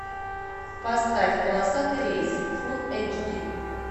поставь полосатый рейс фул эйч ди